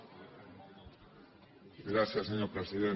gràcies senyor president